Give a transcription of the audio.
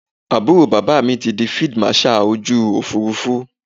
Àbúrò bàbá mi ti di Fídíì Màṣaà ojú Òfurufú.